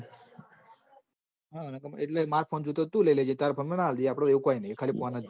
માર phone જોવે તો તું લઇ લેજ તારો phone મન આપી દેજે આપડ એવું કોઈ નહિ